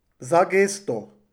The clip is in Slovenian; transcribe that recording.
Za gesto.